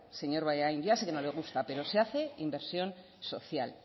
señor bollain ya sé que no le gusta pero se hace inversión social